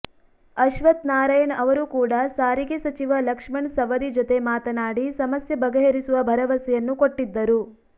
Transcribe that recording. ಅಶ್ವತ್ಥ ನಾರಾಯಣ್ ಅವರು ಕೂಡ ಸಾರಿಗೆ ಸಚಿವ ಲಕ್ಷ್ಮಣ ಸವದಿ ಜೊತೆ ಮಾತನಾಡಿ ಸಮಸ್ಯೆ ಬಗೆಹರಿಸುವ ಭರವಸೆಯನ್ನು ಕೊಟ್ಟಿದ್ದರು